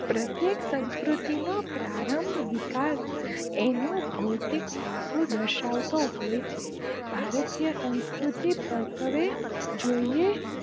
પ્રત્યેક સંસ્કૃતિ નો પ્રારંભ વિકાસ એનો ભૌતિક પાસો દર્શાવતો હોય છે ભારતીય સંસ્કૃતિ પરત્વે જોઇયે